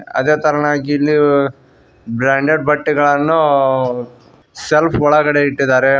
ಅದೇ ತರನಾಗಿ ಇಲ್ಲಿ ಬ್ರಾಂಡೆಡ್ ಬಟ್ಟೆಗಳನ್ನೂ ಸೆಲ್ಫ್ ಒಳಗಡೆ ಇಟ್ಟಿದಾರೆ.